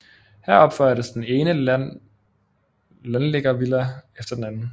Her opførtes den ene landliggervilla efter den anden